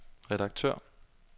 redaktør